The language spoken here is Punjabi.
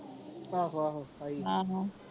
ਆਹੂ ਆਹੋ ਆਈ ਸੀ ਹਾਂ ਹਾਂ